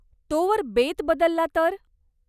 तोवर बेत बदलला तर?